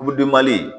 Kuludenbali